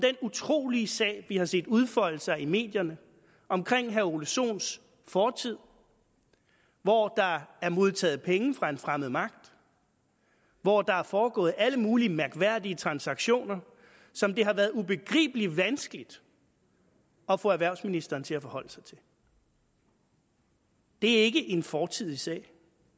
utrolige sag vi har set udfolde sig i medierne omkring herre ole sohns fortid hvor der er modtaget penge fra en fremmed magt og hvor der er foregået alle mulige mærkværdige transaktioner som det har været ubegribelig vanskeligt at få erhvervsministeren til at forholde sig til det er ikke en fortidig sag